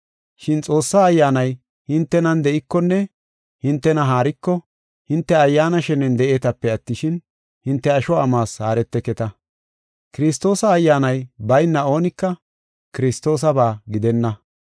Shin Xoossaa Ayyaanay hintenan de7ikonne hintena haariko, hinte Ayyaana shenen de7eetape attishin, hinte asho amuwas haareteketa. Kiristoosa Ayyaanay bayna oonika Kiristoosaba gidenna.